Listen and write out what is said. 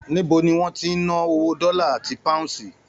Níbo ní wọn tí n nà owó dọlà àti páhúnsí?